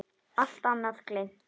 Allt annað gleymt.